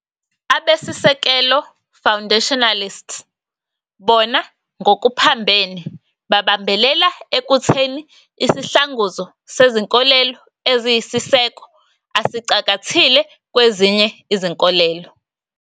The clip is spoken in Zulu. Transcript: Abesisekelo, "Foundationalists", bona ngokuphambene babambelela ekutheni isihlanguzo sezinkolelo eziyisiseko asicakathile kwezinye izinkolelo.